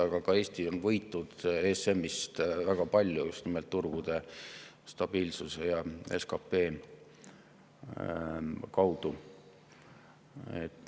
Aga ka Eesti on võitnud ESM‑ist väga palju, just nimelt turgude stabiilsuse ja SKP kaudu.